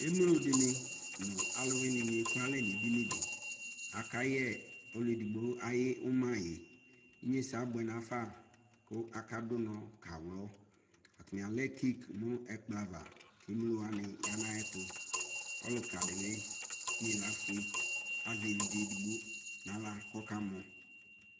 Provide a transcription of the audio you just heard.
Ɛmlo de ne no aluwene de no ɛku ɛla ne dini deAka yɛ ɔlu edigbo aye umaye Inyesɛ abuɛ nafa ko aka do unɔ ka wlɔ Atame alɛ kek no ɛkplɔ ava ko emlo wane ya no ayetoƆluka de ne ne ilafue azɛ evidze edigbo be nahla kɔka mɔ